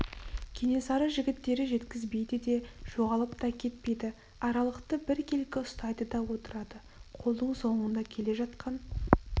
кенесары жігіттері жеткізбейді де жоғалып та кетпейді аралықты біркелкі ұстайды да отырады қолдың соңында келе жатқан